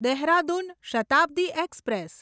Dehradun Shatabdi express